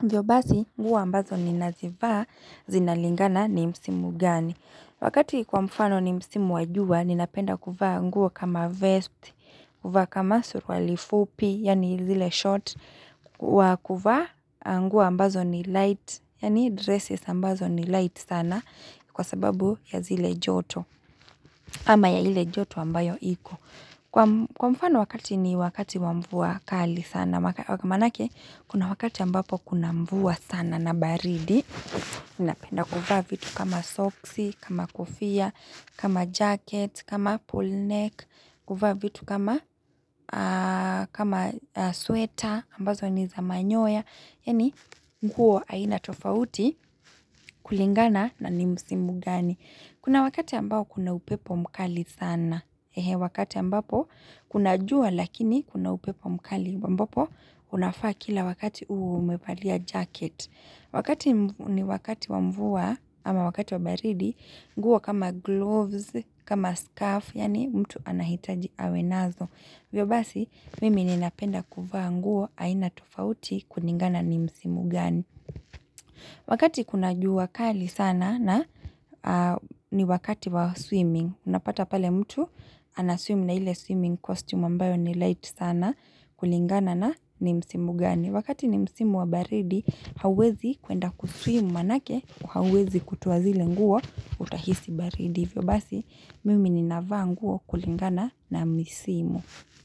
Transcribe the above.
Hivyo basi, nguo ambazo ni nazivaa zinalingana ni msimu gani. Wakati kwa mfano ni msimu wajua, ninapenda kuvaa ngui kama vest, kuvaa kama suruali fupi, yani zile short, kuvaa nguo ambazo ni light, yani dresses ambazo ni light sana kwa sababu ya zile joto, ama ya ile joto ambayo iko. Kwa mfano wakati ni wakati wamvua kali sana, manake, kuna wakati ambapo kuna mvua sana na baridi, inapenda kuvaa vitu kama soksi, kama kofia, kama jacket, kama pull neck, kuvaa vitu kama sweater, ambazo ni za manyoya. Yani nguo haina tofauti kulingana na ni musimu gani. Kuna wakati ambao kuna upepo mkali sana. Hehe wakati ambapo kuna jua lakini kuna upepo mkali. Ambapo unafaa kila wakati umepalia jacket. Wakati ni wakati wamvua ama wakati wa baridi. Nguo kama gloves, kama scarf. Yani mtu anahitaji awe nazo. Hivyo basi mimi ninapenda kuvaa nguo haina tufauti kuningana ni msimu gani. Wakati kuna juu wakali sana na ni wakati wa swimming. Unapata pale mtu anaswim na hile swimming costume ambayo ni light sana kulingana na ni msimu gani. Wakati ni msimu wa baridi hauwezi kuenda kuswim manake uwezi kutoa zile nguo utahisi baridi. Hivyo basi mimi ninavaa nguo kulingana na msimu.